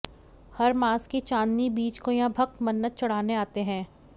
हर मास की चांदनी बीज को यहां भक्त मन्नत चढाने आते है